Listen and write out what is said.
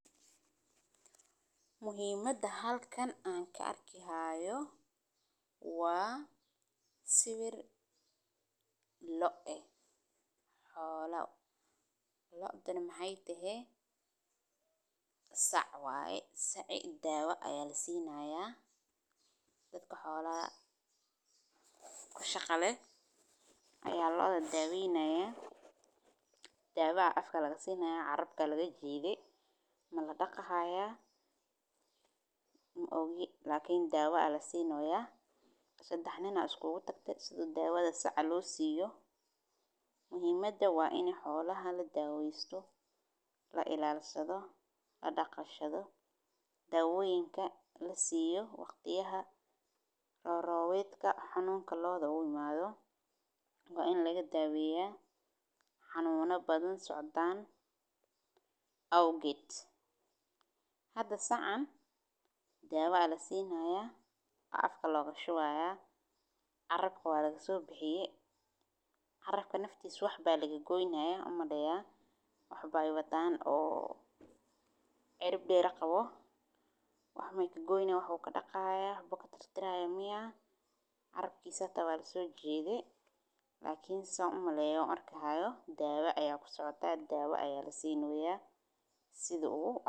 Muhimaada halkan ee ku arki hayo waa siwir lo eh xola, lodhana maxee tahe sac waye saci dawa aya lasi naya dadka xolaha kushaqale aya lodha daweyneya dawa aya afka laga sinaya carabka aya laga jidhe mala daqi haya maogi dawa aya lasini haya sadex nin aya isku tagte si dawadha ninka losiyo muhiimada waa in xolaha ladawesto dawoyinka lasiyo waqtiyaha robedka xanunka lodha u imadho, hada sacan dawa lasini haya afka aya loga shuwi haya carabka waa laga sobixiye carabka naftisa wax ba laga goyni haya umaleya wax be watan cirib deer qawo waxbe kagoyni hayan hada sithan arki hayo dawa aya lasini haya dawo aya kusocota.